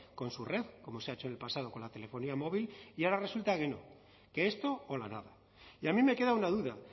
con su red como se ha hecho en el pasado con la telefonía móvil y ahora resulta que no que esto o la nada y a mí me queda una duda